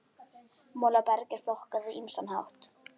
Molaberg er flokkað á ýmsan hátt.